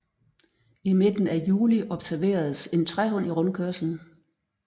I midten af juli observeredes en træhund i rundkørslen